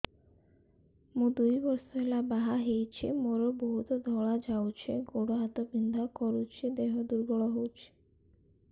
ମୁ ଦୁଇ ବର୍ଷ ହେଲା ବାହା ହେଇଛି ମୋର ବହୁତ ଧଳା ଯାଉଛି ଗୋଡ଼ ହାତ ବିନ୍ଧା କରୁଛି ଦେହ ଦୁର୍ବଳ ହଉଛି